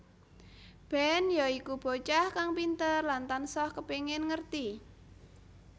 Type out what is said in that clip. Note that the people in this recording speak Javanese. Ben ya iku bocah kang pinter lan tansah kepengin ngerti